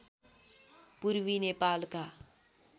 पूर्वी नेपालका